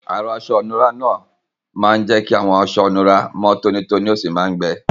Arọ́ aṣọ ìnura náà máa ń jẹ́ kí àwọn aṣọ ìnura mọ́ tónítóní ó sì máa ń gbẹ.